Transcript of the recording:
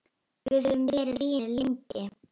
Við höfum verið vinir lengi.